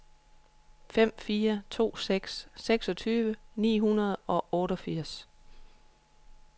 fem fire to seks seksogtyve ni hundrede og otteogfirs